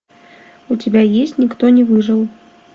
у тебя есть никто не выжил